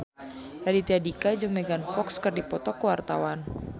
Raditya Dika jeung Megan Fox keur dipoto ku wartawan